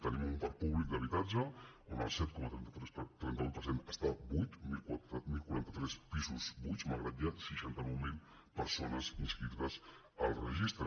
tenim un parc públic d’habitatge on el set coma trenta vuit per cent està buit deu quaranta tres pisos buits malgrat que hi ha seixanta nou mil persones inscri·tes al registre